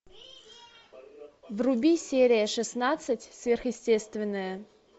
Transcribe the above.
вруби серия шестнадцать сверхъестественное